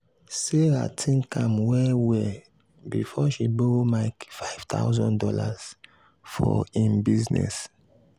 sarah think am well well before she borrow mike five thousand dollars for im business.